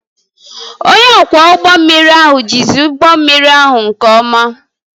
Onye ọkwọ ụgbọ mmiri ahụ jizi ụgbọ mmiri ahụ nke ọma